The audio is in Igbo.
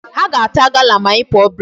Ha ga-ata gala ma anyị pụọ break.